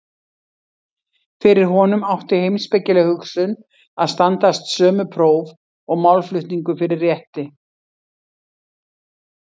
Fyrir honum átti heimspekileg hugsun að standast sömu próf og málflutningur fyrir rétti.